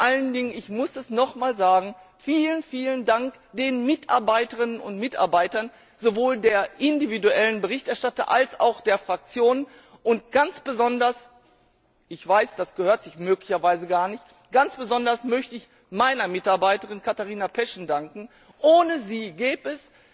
Und vor allen Dingen ich muss es noch einmal sagen vielen Dank den Mitarbeiterinnen und Mitarbeitern sowohl der individuellen Berichterstatter als auch der Fraktionen und ganz besonders ich weiß, das gehört sich möglicherweise gar nicht ganz besonders möchte ich meiner Mitarbeiterin, Katharina Peschen, danken. Ohne sie gäbe